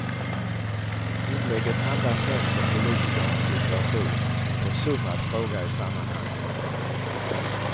Inlägget handlar främst om politikernas situation, en försummad fråga i sammanhanget.